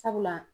Sabula